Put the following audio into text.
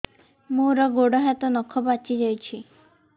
ମୋର ଗୋଡ଼ ହାତ ନଖ ପାଚି ଯାଉଛି